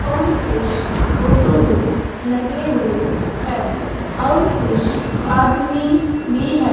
और कुछ फोटो भी लगे हुए हैं और कुछ आदमी भी है।